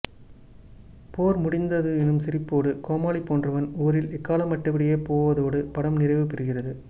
போர் முடிந்தது என்னும் சிரிப்போடு கோமாளி போன்றவன் ஊரில் எக்காளமிட்டபடியே போவதோடு படம் நிறைவு பெறுகிறது